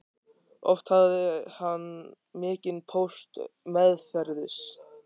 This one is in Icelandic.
Oft hafði hann mikinn póst meðferðis.